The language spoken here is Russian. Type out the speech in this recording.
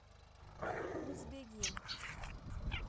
узбегим